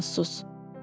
Dayan, sus!